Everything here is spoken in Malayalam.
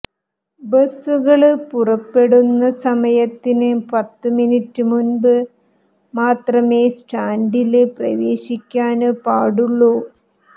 ബസുകള് പുറപ്പെടുന്ന സമയത്തിന് പത്തുമിനിറ്റ് മുമ്പ് മാത്രമേ സ്റ്റാന്ഡില് പ്രവേശിക്കാന് പാടുള്ളൂ